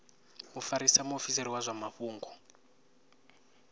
mufarisa muofisiri wa zwa mafhungo